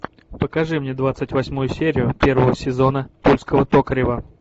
покажи мне двадцать восьмую серию первого сезона тульского токарева